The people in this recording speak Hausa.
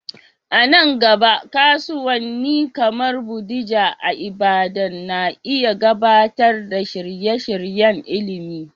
A nan gaba, kasuwanni kamar Bodija a Ibadan na iya gabatar da shirye-shiryen ilimi.